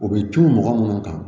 O bɛ tunun mɔgɔ minnu kan